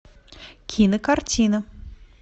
кинокартина